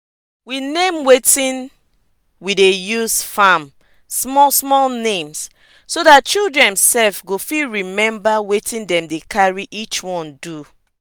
we name wetin we dey use farm small small names so dat children sef go fit remember wetin dem dey carry each one do.